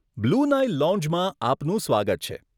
Blue Nile લોંજમાં આપનું સ્વાગત છે.